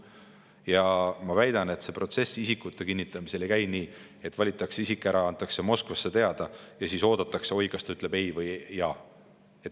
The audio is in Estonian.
Ma väidan, et see protsess isikute kinnitamisel ei käi nii, et valitakse isik ära, antakse Moskvasse teada ja siis oodatakse, kas ta ütleb ei või jaa.